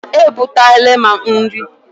E butela m nri.